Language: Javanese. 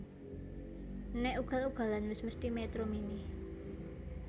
Nek ugal ugalan wes mesthi Metro Mini